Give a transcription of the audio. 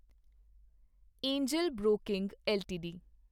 Angel broking LTD